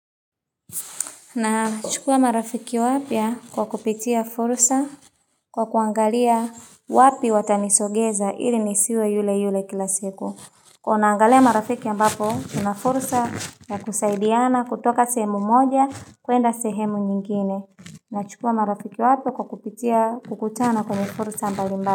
Na chukua marafiki wapya kwa kupitia fursa kwa kuangalia wapi watanisogeza ili nisiwe yule yule kila siku. Kuwa naangalia marafiki ambapo, tuna fursa na kusaidiana kutoka sehemu moja kuenda sehemu nyingine. Nachukua marafiki wapya kwa kupitia kukutana kwenye fursa mbali mbali.